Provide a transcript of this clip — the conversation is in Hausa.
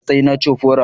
Matsayi na cofora